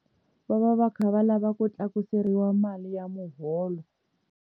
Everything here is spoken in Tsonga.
Va va va kha va lava ku tlakuseriwa mali ya muholo.